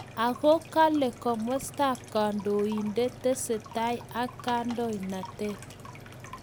Ako kale komastab kandoindet tesetai ak kandoinatet